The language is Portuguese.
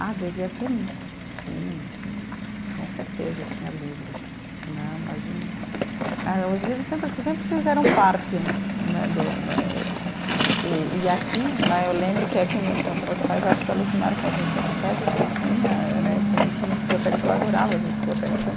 Ah, devia ter, sim, com certeza tinha livros né, imagina, ah e os livros sempre, acho que sempre fizeram parte né do eh, e e aqui né, eu lembro que aqui meus pais, acho que alucinaram com as minhas enciclopédias que tinha eh né, também tinha enciclopédia, que eu adorava as enciclopédias, então